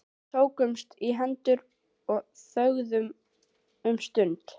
Við tókumst í hendur og þögðum um stund.